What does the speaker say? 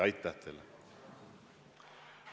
Aitäh teile!